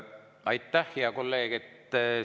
Aitäh, hea kolleeg!